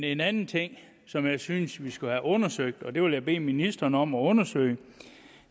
en anden ting som jeg synes vi skal have undersøgt og det vil jeg bede ministeren om at undersøge